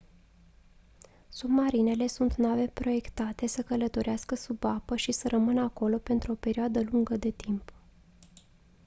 submarinele sunt nave proiectate să călătorească sub apă și să rămână acolo pentru o perioadă lungă de timp